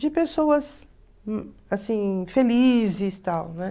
de pessoas, assim, felizes e tal, né?